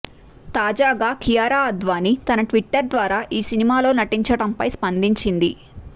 తాజాగా కియారా అడ్వాణీ తన ట్వీటర్ ద్వారా ఈ సినిమాలో నటించడం పై స్పందించింది